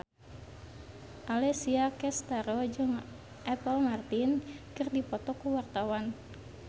Alessia Cestaro jeung Apple Martin keur dipoto ku wartawan